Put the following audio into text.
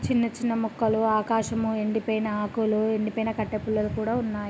చిన్న చిన్న మొక్కలు ఆకాశము ఎండిపోయిన ఆకులు ఎండిపోయిన కట్టె పుల్లలు కూడా ఉన్నాయి.